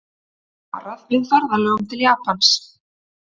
Varað við ferðalögum til Japans